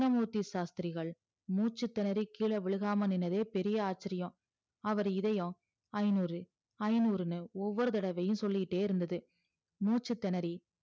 கிருஸ்னமூர்த்தி சாஸ்த்திரிகள் மூச்சி திணறி கிழ விழுகாம நின்னதே பெரிய ஆச்சிரியம் அவரு இதயம் ஐந்நூறு ஐந்நூறுன்னு ஒவ்வொரு தடவையும் சொல்லிகிட்டே இருந்தது மூச்சி திணறி